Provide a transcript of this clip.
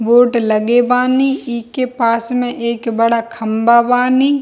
Board लगे बानी इ के पास में एक बड़ा खम्बा बानी।